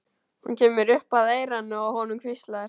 Hún kemur upp að eyranu á honum, hvíslar.